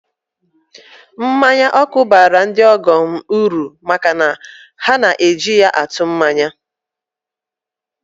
Mmanya ọkụ baara ndị ọgọ mmụọ uru maka na ha na-eji ya atụ mmanya